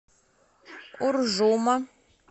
уржума